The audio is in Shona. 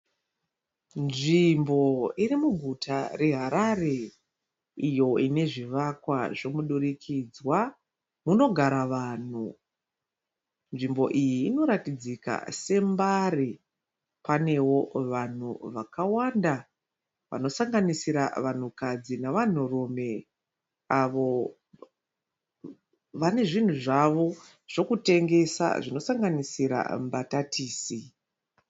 Zvimbo iri muguta reHarare iyo ine zvivakwa zvemudurikidzwa munogara vanhu. Nzvimbo iyi inoratidzika seMbare. Panewo vanhu vakawanda vanosanganisira vanhukadzi navanhurume avo vane zvinhu zvavo zvokutengesa zvinosanganisira mbatatisi.